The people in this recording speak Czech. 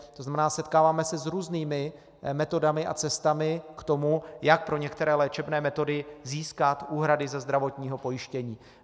To znamená, setkáváme se s různými metodami a cestami k tomu, jak pro některé léčebné metody získat úhrady ze zdravotního pojištění.